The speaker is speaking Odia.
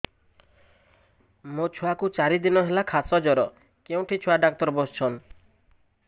ମୋ ଛୁଆ କୁ ଚାରି ଦିନ ହେଲା ଖାସ ଜର କେଉଁଠି ଛୁଆ ଡାକ୍ତର ଵସ୍ଛନ୍